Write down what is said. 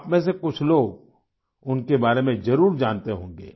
आप में से कुछ लोग उनके बारे में जरूर जानते होंगे